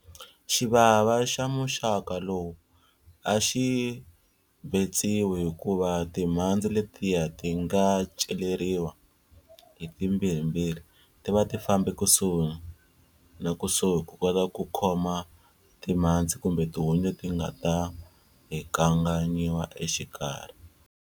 Xivava xa muxaka lowu a xi betsiwi hikuva timhandzi letiya ti nga celeriwa hi timbirhimbirhi ti va ti fambe kusuhi na kusuhi ku kota ku khoma timhandzi kumbe tihunyi leti nga ta hingakanyiwa exikarhi.